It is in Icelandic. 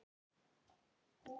Skilja hvað, Steini minn?